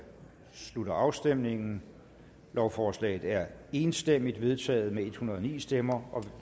slutter afstemningen lovforslaget er enstemmigt vedtaget med en hundrede og ni stemmer